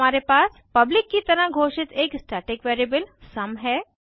फिर हमारे पास पब्लिक की तरह घोषित एक स्टैटिक वेरिएबल सुम है